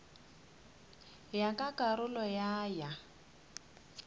ya ka karolo ya ya